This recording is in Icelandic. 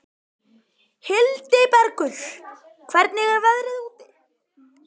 Hildibergur, hvernig er veðrið úti?